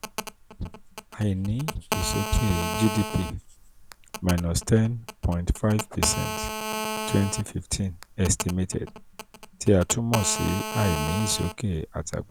àìní ìsókè gdp minus ten point five percent twenty fifteen estimated tí a tún mọ̀ sí àìní ìsókè